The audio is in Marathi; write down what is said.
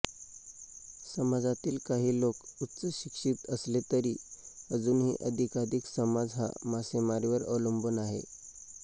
समाजातील काही लोक उच्चशिक्षित असले तरी अजूनही अधिकाधिक समाज हा मासेमारीवर अवलंबून आहे